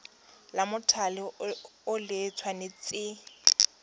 la mothale o le tshwanetse